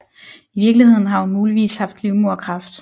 I virkeligheden har hun muligvis haft livmoderkræft